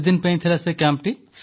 କେତେଦିନ ପାଇଁ ଥିଲା କ୍ୟାମ୍ପ